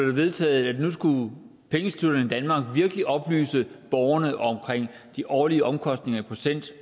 det vedtaget at nu skulle pengeinstitutterne i danmark virkelig oplyse borgerne om de årlige omkostninger i procent